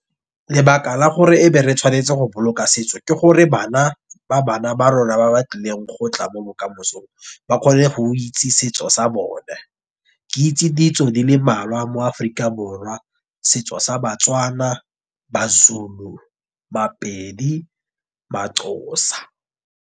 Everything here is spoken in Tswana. Lebaka la gore e be re tshwanetse go boloka setso ke gore bana, ba bana ba rona, ba ba tlileng go tla mo bokamosong, ba kgone go itse setso sa bone. Ke itse ditso di le mmalwa mo Aforika Borwa, setso sa baTswana, basweu, maPedi, maXhosa.